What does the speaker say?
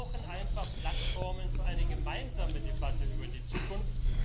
Wir brauchen einfach Plattformen für eine gemeinsame Debatte über die Zukunft.